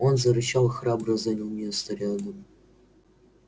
он зарычал и храбро занял место рядом